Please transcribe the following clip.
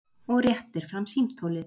Og réttir fram símtólið.